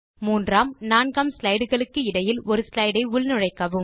3ஆம் 4 ஆம் ஸ்லைடு களுக்கு இடையில் ஒரு slideஐ உள்நுழைக்கவும்